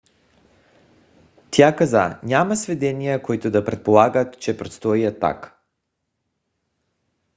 тя каза: няма сведения които да предполагат че предстои атака